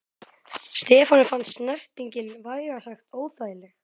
Stefáni fannst snertingin vægast sagt óþægileg.